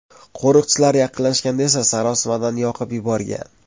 Qo‘riqchilar yaqinlashganda esa sarosimadan yoqib yuborgan.